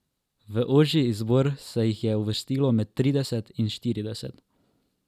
V ožji izbor se jih je uvrstilo med trideset in štirideset.